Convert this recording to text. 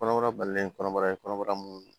Kɔnɔbara balilen kɔnɔbara ye kɔnɔbara mun